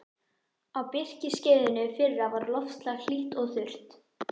Á birkiskeiðinu fyrra var loftslag hlýtt og þurrt.